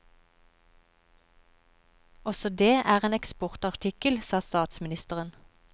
Også det er en eksportartikkel, sa statsministeren.